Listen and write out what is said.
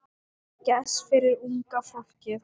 Gess fyrir unga fólkið.